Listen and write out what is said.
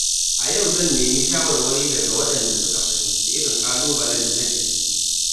A yau zan nemi shawarwari daga waɗanda suka fuskanci irin ƙalubalen da nake ciki.